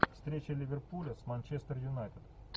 встреча ливерпуля с манчестер юнайтед